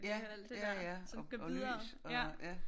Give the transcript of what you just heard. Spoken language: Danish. Ja ja ja og lys og ja